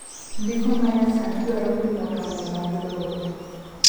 ndiko manyasani dwaro pimo tonge mag lowo